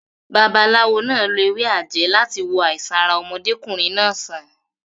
Babaláwo náà lo ewé àjẹ́ láti wo àìsàn ara ọmọdékùnrin náà sàn.